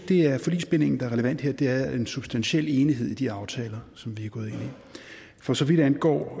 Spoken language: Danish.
det er forligsbindingen der er relevant her det er en substantiel enighed i de aftaler som vi gået ind i for så vidt angår